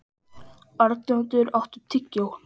Arnljótur, áttu tyggjó?